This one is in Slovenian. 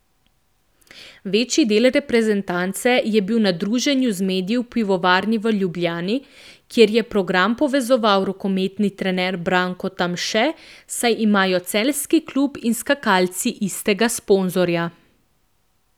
Večji del reprezentance je bil na druženju z mediji v pivovarni v Ljubljani, kjer je program povezoval rokometni trener Branko Tamše, saj imajo celjski klub in skakalci istega sponzorja.